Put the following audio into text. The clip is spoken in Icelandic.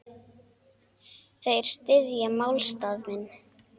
Þeir styðja málstað minn.